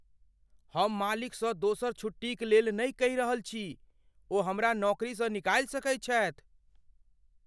हम मालिकसँ दोसर छुट्टीक लेल नहि कहि रहल छी। ओ हमरा नौकरीसँ निकालि सकैत छथि।